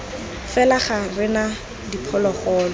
fela ga re na diphologolo